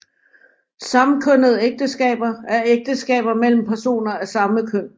Samkønnede ægteskaber er ægteskaber mellem personer af samme køn